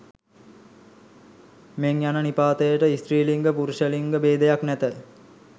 මෙන් යන නිපාතයට ස්ති්‍රලිංග පුරුෂලිංග භේදයක් නැත